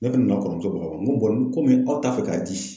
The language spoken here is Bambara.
Ne kun ne na kɔrɔmuso baga n ko n ko aw t'a fɛ k'a di.